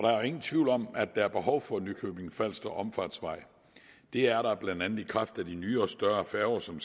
er jo ingen tvivl om at der er behov for nykøbing falster omfartsvej det er der blandt andet i kraft af de nye og større færger som